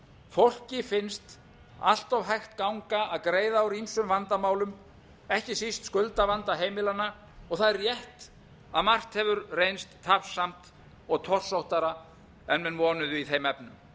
fólki finnst allt hægt ganga að greiða úr ýmsum vandamálum ekki síst skuldavandaheimilanna og þar er rétt að margt hefur reynst tafsamt og torsóttara en menn vonuðu í þeim efnum